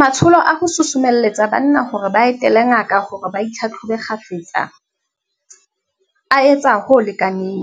Matsholo a ho susumelletsa banna hore ba etele ngaka hore ba itlhatlhobe kgafetsa, a etsa ho lekaneng,